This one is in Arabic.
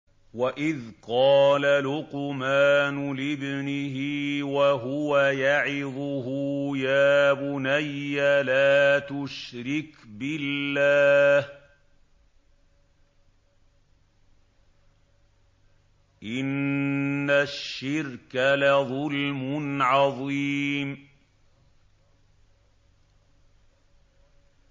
وَإِذْ قَالَ لُقْمَانُ لِابْنِهِ وَهُوَ يَعِظُهُ يَا بُنَيَّ لَا تُشْرِكْ بِاللَّهِ ۖ إِنَّ الشِّرْكَ لَظُلْمٌ عَظِيمٌ